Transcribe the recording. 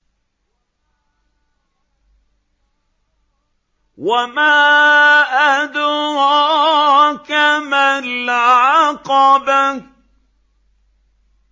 وَمَا أَدْرَاكَ مَا الْعَقَبَةُ